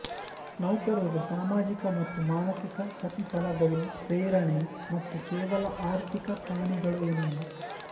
ನೌಕರರು ಸಾಮಾಜಿಕ ಮತ್ತು ಮಾನಸಿಕ ಪ್ರತಿಫಲಗಳು ಪ್ರೇರಣೆ ಮತ್ತು ಕೇವಲ ಆರ್ಥಿಕ ಪ್ರಾಣಿಗಳು ಏನಲ್ಲ